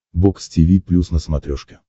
бокс тиви плюс на смотрешке